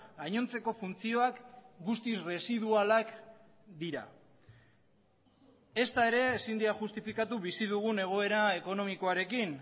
gainontzeko funtzioak guztiz residualak dira ezta ere ezin dira justifikatu bizi dugun egoera ekonomikoarekin